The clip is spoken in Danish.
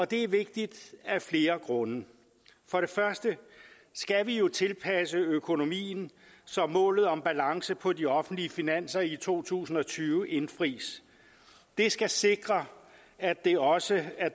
det er vigtigt af flere grunde for det første skal vi jo tilpasse økonomien så målet om balance på de offentlige finanser i to tusind og tyve indfris det skal sikre at der også er